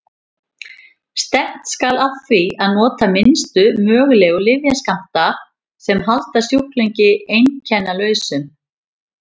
Stefnt skal að því að nota minnstu mögulegu lyfjaskammta sem halda sjúklingi einkennalausum.